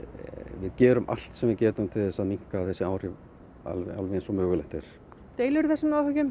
við gerum allt sem við getum til þess að minnka þessi áhrif alveg alveg eins og mögulegt er deilirðu þessum áhyggjum